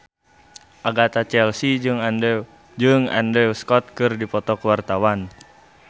Agatha Chelsea jeung Andrew Scott keur dipoto ku wartawan